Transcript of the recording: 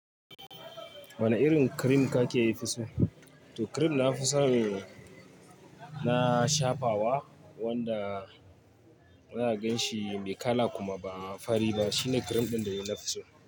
Wane irin cream kake fiso? To cream na fisan ne, na shafawa wanda zaka ganshi bai kala kuma ba fari ba. Shine cream ɗin da dai nafi so.